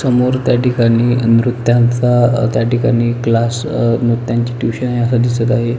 समोर त्याठिकाणी अ नृत्याचा अ त्याठिकाणी क्लास अ नृत्यांची ट्युशन अस दिसत आहे.